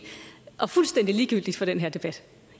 og fuldstændig ligegyldigt for den her debat